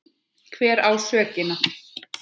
Hver á sökina?